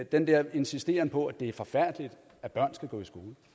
den der insisteren på at det er forfærdeligt at børn skal gå i